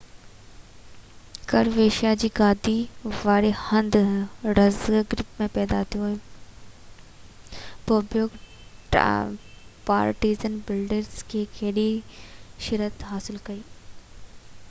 Croatia جي گادي واري هنڌ زاگريب ۾ پيدا ٿيو بوبيڪ پارٽيزن بيلگريڊ لاءَ کيڏي شهرت حاصل ڪئي